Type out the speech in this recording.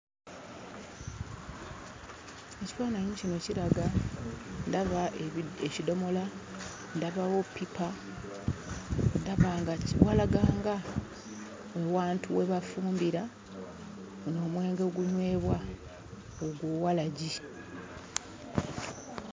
Ekifaananyi kino kiraga, ndaba ebi ekidomola, ndabawo ppipa. Ndaba nga ki walaga nga ewantu we bafumbira omwenge ogunywebwa ogwo walagi.